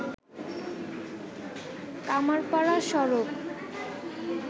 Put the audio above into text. কামাড়পাড়া সড়ক